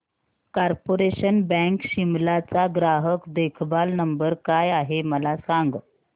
corporation bank Shimla चा ग्राहक देखभाल नंबर काय आहे मला सांग